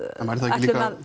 ætlum að